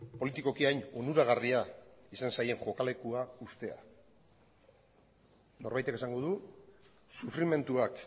politikoki hain onuragarria izan zaien joka lekua uztea norbaitek esango du sufrimenduak